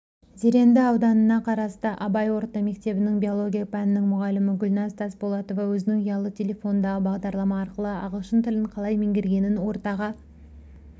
зеренді ауданына қарасты абай орта мектебінің биология пәнінің мұғалімі гүлнәз тасболатова өзінің ұялы телефондағы бағдарлама арқылы ағылшын тілін қалай меңгергенін ортаға